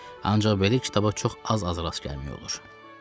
Ancaq belə kitablara çox az-az rast gəlmək olur.